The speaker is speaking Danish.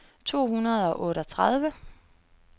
to hundrede og otteogtredive